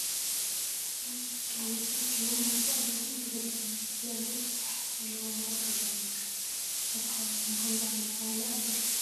አባላት ስድራቤት ተአኪቦም ማአዲ ቀሪቦም እቲ ገዛ ድማ ዝተፈላለዩ ኢድ ስራሕቲ ዘለዎ ሙዕሩጉ ገዛ ንምልከት ።አብ ከባቢኩም ከምዚ ዓይነት ባህሊ አሎ ዶ?